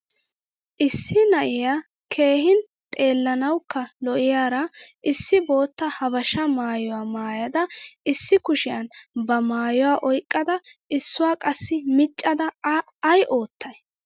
Issi na'iyaa keehin xeelanawukka lo'iyara issi boottaa habasha maayuwaa maayada issi kushiyan ba maayuwaa oyqqada issuwaa qassi miccada a ay oottay?